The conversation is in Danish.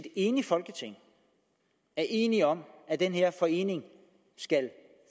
enigt folketing er enigt om at den her forening skal